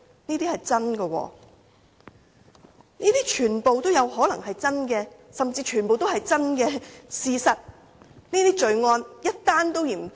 這些也是真的，全部也有可能是真實，甚至全部也是真相事實，而這些罪案是一宗也嫌多的。